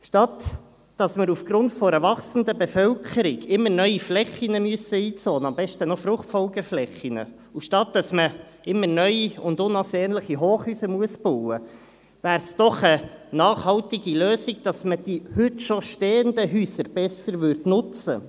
Anstatt dass wir aufgrund einer wachsenden Bevölkerung immer neue Flächen einzonen müssen, am besten gleich Fruchtfolgeflächen, und anstatt dass man immer neue, unansehnliche Hochhäuser bauen muss, wäre es doch eine nachhaltige Lösung, die heute bereits stehenden Häuser besser zu nutzen.